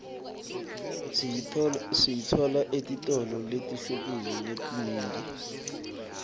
siyitfola etitolo letihlukile letinyenti